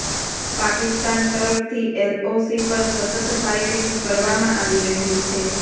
પાકિસ્તાન તરફથી એલઓસી પર સતત ફાયરિંગ કરવામાં આવી રહ્યું છે